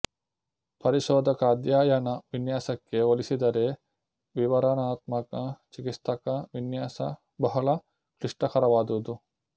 ಪರಿಶೋಧಕ ಅಧ್ಯಯನ ವಿನ್ಯಾಸಕ್ಕೆ ಹೋಲಿಸಿದರೆ ವಿವರಣಾತ್ಮಕ ಚಿಕಿತ್ಸಕ ವಿನ್ಯಾಸ ಬಹಳ ಕ್ಲಿಷ್ಟಕರವಾದುದು